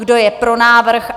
Kdo je pro návrh?